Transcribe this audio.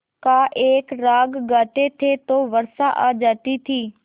का एक राग गाते थे तो वर्षा आ जाती थी